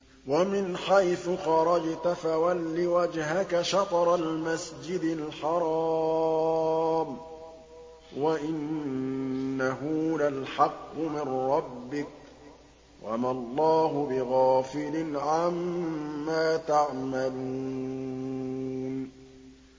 وَمِنْ حَيْثُ خَرَجْتَ فَوَلِّ وَجْهَكَ شَطْرَ الْمَسْجِدِ الْحَرَامِ ۖ وَإِنَّهُ لَلْحَقُّ مِن رَّبِّكَ ۗ وَمَا اللَّهُ بِغَافِلٍ عَمَّا تَعْمَلُونَ